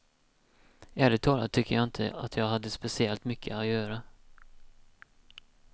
Ärligt talat tycker jag inte att jag hade speciellt mycket att göra.